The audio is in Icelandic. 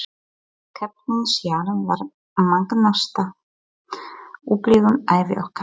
Keppnin sjálf var magnaðasta upplifun ævi okkar.